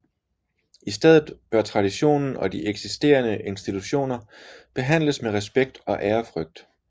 I stedet bør traditionen og de eksisterende institutioner behandles med respekt og ærefrygt